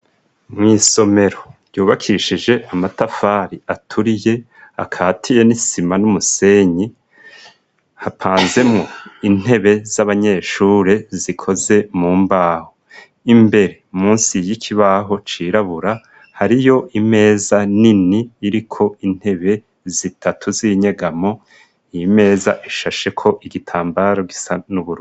Mw'isomero ryubakishije amatafari aturiye akahatiye n'isima n'umusenyi, hapanzemwo intebe z'abanyeshure zikoze mu mbaho, imbere musi y'ikibaho cirabura hariyo imeza nini iriko intebe zitatu z'inyegamo, iyi meza ishasheko igitambaro gisa n'ubururu.